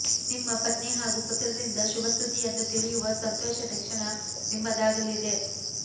ನಿಮ್ಮ ಪತ್ನಿ ಹಾಗೂ ಪುತ್ರರಿಂದ ಶುಭ ಸುದ್ದಿಯನ್ನು ತಿಳಿಯುವ ಸಂತೋಷದ ಕ್ಷಣ ನಿಮ್ಮದಾಗಲಿದೆ